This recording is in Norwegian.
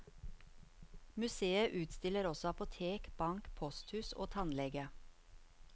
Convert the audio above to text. Museet utstiller også apotek, bank, posthus og tannlege.